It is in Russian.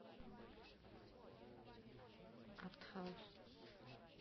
арт хаус